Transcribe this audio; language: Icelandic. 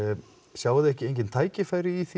sjáið þið engin tækifæri í því